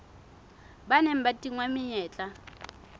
ba neng ba tingwa menyetla